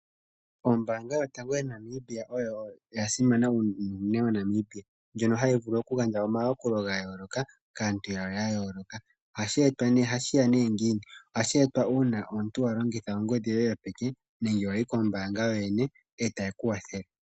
Ombaanga yotango moNamibia oyo ya simana unene moNamibia. Ndjono hayi vulu oku gandja omayakulo ga yooloka kaantu ya yooloka. Ohashi etwa nee, ohashi ya nee ngiini? Ohashi etwa uuna omuntu wa longitha ongodhi yoye yopeke nenge wayi kombaanga yo yene ndele ta yeku kwathele.